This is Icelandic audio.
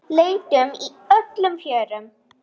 Leitum í öllum fjörum.